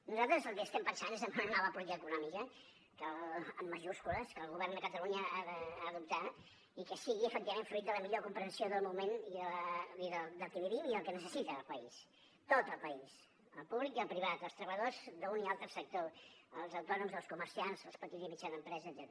nosaltres el que estem pensant és en una nova política econòmica amb majúscules que el govern de catalunya hi ha d’optar i que sigui efectivament fruit de la millor comprensió del moment del que vivim i del que necessita el país tot el país el públic i el privat els treballadors d’un i altre sector els autònoms els comerciants la petita i mitjana empresa etcètera